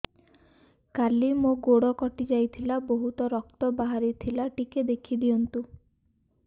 କାଲି ମୋ ଗୋଡ଼ କଟି ଯାଇଥିଲା ବହୁତ ରକ୍ତ ବାହାରି ଥିଲା ଟିକେ ଦେଖି ଦିଅନ୍ତୁ